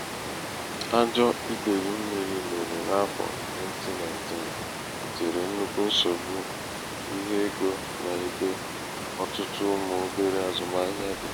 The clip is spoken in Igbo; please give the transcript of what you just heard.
ajọ̄ idèyì mmīrī mere n’afọ̀ 2019 bùtèrè nnukwu nsògbu ihe egō n’ebe ọtụtụ ụmụ̀ obere azụmahịa dị̀.